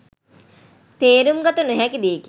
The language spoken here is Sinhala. තේරුම්ගත නොහැකි දෙයකි